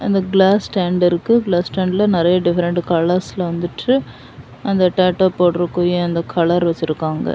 அந்த glass stand இருக்கு glass ஸ்டாண்ட்ல நெறைய டிஃபரண்ட் கலர்ஸ்ல வந்துட்டு அந்த டேட்டோ போடுற குரிய அந்த கலர் வச்சிருக்காங்க.